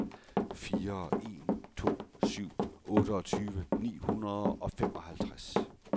fire en to syv otteogtyve ni hundrede og femoghalvtreds